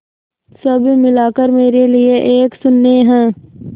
सब मिलाकर मेरे लिए एक शून्य है